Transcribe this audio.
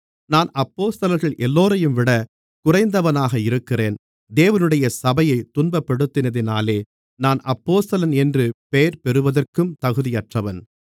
நான் அப்போஸ்தலர்கள் எல்லோரையும்விட குறைந்தவனாக இருக்கிறேன் தேவனுடைய சபையைத் துன்பப்படுத்தினதினாலே நான் அப்போஸ்தலன் என்று பேர்பெறுவதற்கும் தகுதியற்றவன்